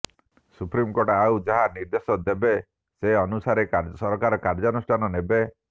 supreme court ଆଉ ଯାହା ନିର୍ଦେଶ ଦେବେ ସେନୁସାରେ ସରକାର କାଯ୍ୟୁନୁଷ୍ଠାନ ନେବେ